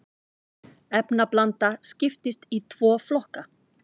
efnablanda skiptist í tvo flokka